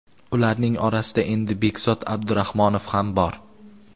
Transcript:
Ularning orasida endi Bekzod Abdurahmonov ham bor.